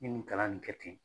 n ye nin kalan nin kɛ ten.